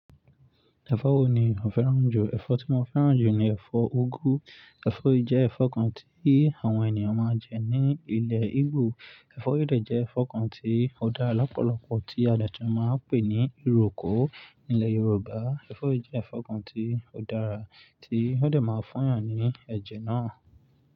Ẹ̀fọ́ wo ni ò fẹ́ràn jù? Ẹ̀fọ́ tí mo fẹ́ràn jù ni ẹ̀fọ́ úgú. Ẹ̀fọ́ yìí jẹ́ ẹ̀fọ́ kan tí àwọn ènìyàn máa ń jẹ ní ilẹ̀ Igbo. Ẹ̀fọ́ yìí de jẹ́ ẹ̀fọ́ kan tí ó dára lọ́pọ̀lọpọ̀, tí a dàtì máa ń pè ní ìrọ́kò nílẹ̀ Yorùbá. Ẹ̀fọ́ yìí jẹ́ ẹ̀fọ́ kan tí ó dára, tí ó de máa fun yàn ní ẹ̀jẹ̀ náà.